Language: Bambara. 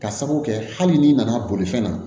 Ka sabu kɛ hali n'i nana bolifɛn na